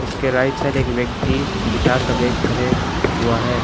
उसके right side एक व्यक्ति गिटार का बैग खड़े हुआ है।